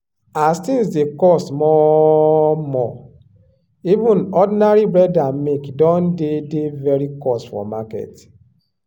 as things dey cost more more even ordinary bread and milk don dey dey very cost for market.